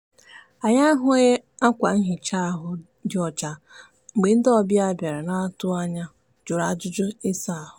anyị ahụghị akwa nhịcha ahụ dị ọcha mgbe ndị ọbịa bịara n'atụghị anya jụrụ ajụjụ ịsa ahụ.